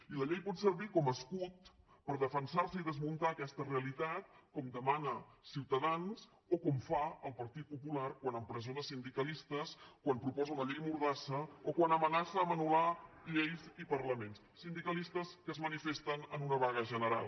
i la llei pot servir com a escut per defensarse i desmuntar aquesta realitat com demana ciutadans o com fa el partit popular quan empresona sindicalistes quan proposa una llei mordassa o quan amenaça a anul·la remor de veus) sindicalistes que es manifesten en una vaga general